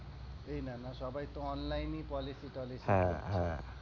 এই নানা সবাই তো online এই policy tolicy হ্যাঁ হ্যাঁ,